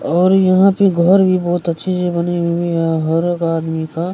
और यहाँ पे घर भी बहुत अच्छी-अच्छी बनी हुई है यहाँ हर एक आदमी का।